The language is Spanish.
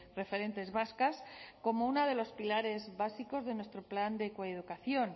referentes vascas como uno de los pilares básicos de nuestro plan de coeducación